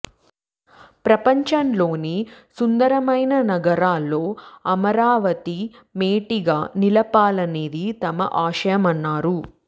ప్రపంచంలోని సుం దరమైన నగరాల్లో అమరావతి మేటిగా నిలపాల న్నదే తమ ఆశయమన్నారు